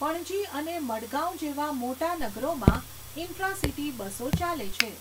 પણજી અને મડગાંવ જેવા મોટા નગરોમાં ઇન્ટ્રા સિટી બસો ચાલે છે.